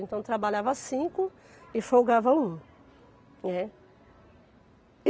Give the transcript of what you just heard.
Então, eu trabalhava cinco e folgava um, né.